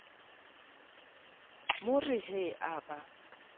mo re he a ba